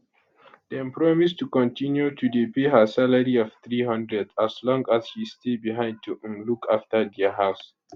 dem promise to continue to dey pay her salary of 300 as long as she stay behind to um look afta dia house